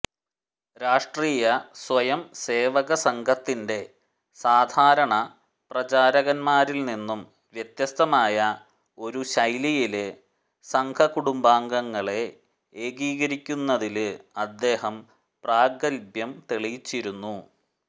രാഷ്ട്രീയ സ്വയംസേവക സംഘത്തിന്റെ സാധാരണ പ്രചാരകന്മാരില്നിന്നും വ്യത്യസ്തമായ ഒരു ശൈലിയില് സംഘകുടുംബാംഗങ്ങളെ ഏകീകരിക്കുന്നതില് അദ്ദേഹം പ്രാഗത്ഭ്യം തെളിയിച്ചിരുന്നു